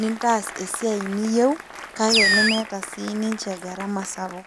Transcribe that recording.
nintaas esiai niyieu kake nemeeta siniche garama sapuk .